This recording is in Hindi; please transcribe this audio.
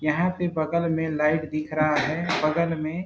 यहाँ पे बगल में लाइट दिख रहा है बगल में--